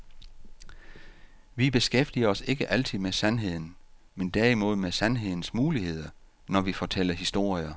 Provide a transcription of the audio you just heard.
Vi beskæftiger os ikke altid med sandheden, men derimod med sandhedens muligheder, når vi fortæller historier.